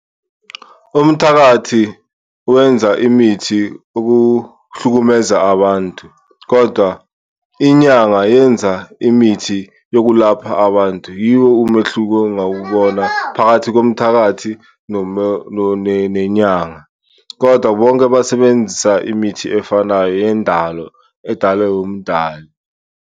Umthakathi wenza imithi ukuhlukumeza abantu kodwa inyanga yenza imithi yokulapha abantu yiwo umehluko engawubona phakathi komthakathi nenyanga. Kodwa bonke basebenzisa imithi efanayo yendalo edalwe umdali.